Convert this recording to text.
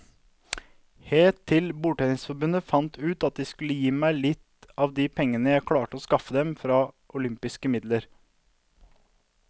Helt til bordtennisforbundet fant ut at de skulle gi meg litt av de pengene jeg klarte å skaffe dem fra olympiske midler.